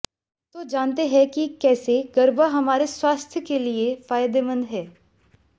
तो जानते हैं कि कैसे गरबा हमारे स्वास्थ्य के लिए फायदेमंद है